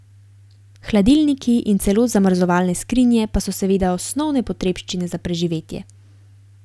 Hladilniki in celo zamrzovalne skrinje pa so seveda osnovne potrebščine za preživetje.